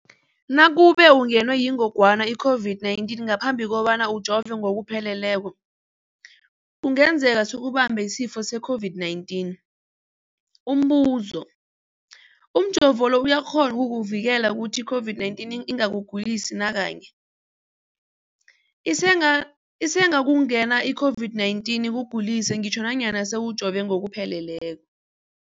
Nakube ungenwe yingogwana i-COVID-19 ngaphambi kobana ujove ngokupheleleko, kungenzeka sikubambe isifo se-COVID-19. Umbuzo, umjovo lo uyakghona ukukuvikela ukuthi i-COVID-19 ingakugulisi nakanye? Isengakungena i-COVID-19 ikugulise ngitjho nanyana sewujove ngokupheleleko.